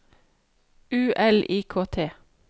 U L I K T